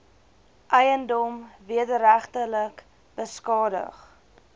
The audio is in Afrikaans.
eiendom wederregtelik beskadig